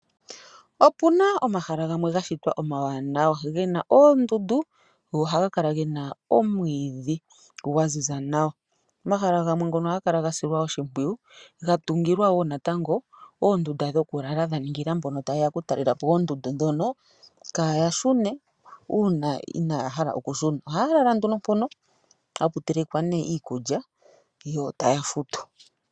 Opuna omahala gamwe gashitwa omawanawa, gena oondundu, go ohaga kala gena omwiidhi gwaziza nawa . Omahala gamwe ngono ohaga kala gasilwa oshimpwiyu . Ga tungilwa wo natango oondunda dhokulala dhaningila mbono taye ya okutalelapo oondundu ndhono kaaya shune uuna inaaya hala okushina. Ohaya lala nduno mpono yapu telekwa nduno iikulya, yo taya futu.